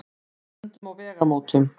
Við stöndum á vegamótum.